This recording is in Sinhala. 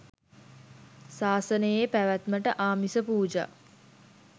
සාසනයේ පැවැත්මට ආමිස පූජා